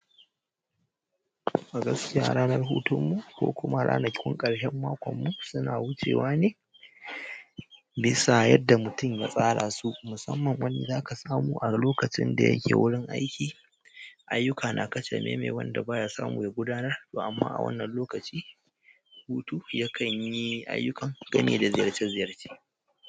A gaskiya, ranar hutun mu ko kuma ranakun ƙarshen makon mu suna wucewa ne bisa yadda mutum ya tsara su. Musamman wanda zaka samu a lokacin da yake wurin aiki, ayyuka na kacame mai wanda baya samu yayi gudanarwa amma a wannan lokacin hutu yakan yi ayyukan game da ziyarce ziyarce.